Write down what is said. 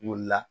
Wuli la